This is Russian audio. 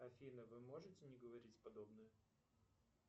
афина вы можете не говорить подобное